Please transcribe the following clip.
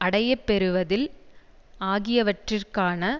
அடையப்பெறுவதில் ஆகியவற்றிற்கான